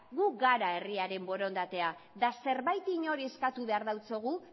gu gara herriaren borondatea eta zerbait inori eskatu behar diogu